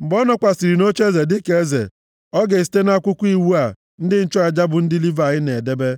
Mgbe ọ nọkwasịrị nʼocheeze dịka eze, ọ ga-esite nʼakwụkwọ iwu a ndị nchụaja bụ ndị Livayị na-edebe,